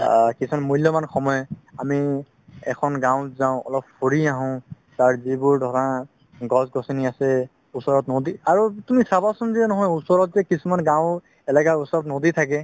আ কিছুমান মুল্যাবান সময় আমি এখন গাওঁত যাও অলপ ঘুৰি আহো তাত যিবোৰ ধৰা গছ গছনি আছে ওচৰত নদি আৰু তুমি চাবাচোন যে নহয় ওচৰত যে কিছুমান গাওঁ এলেকাত নদি থাকে